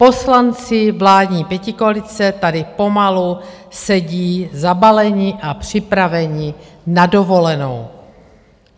Poslanci vládní pětikoalice tady pomalu sedí zabaleni a připraveni na dovolenou.